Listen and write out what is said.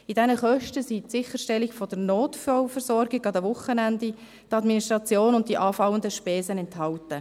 In diesen Kosten ist die Sicherstellung der Notfallversorgung an den Wochenenden, die Administration und die anfallenden Spesen enthalten.